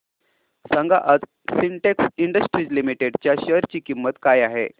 सांगा आज Sintex industries limited च्या शेअर ची किंमत काय आहे